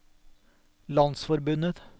landsforbundet